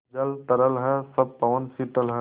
सब जल तरल है सब पवन शीतल है